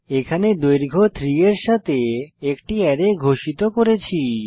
এখানে দৈর্ঘ্য 3 এর একটি অ্যারে ঘোষিত করেছি